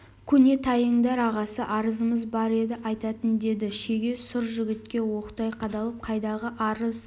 көне тайыңдар ағасы арызымыз бар еді айтатын деді шеге сұр жігітке оқтай қадалып қайдағы арыз